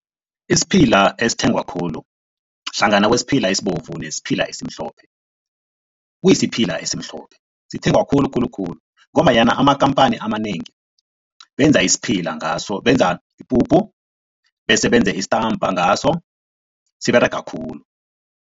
Isiphila esithengwa khulu hlangana kwesiphila esibovu nesiphila esimhlophe, kuyisiphila esimhlophe. Sithengwa khulu khulu khulu ngombanyana amakhamphani amanengi benza isiphila ngaso, benza ipuphu bese benze isitampa ngaso, siberega khulu.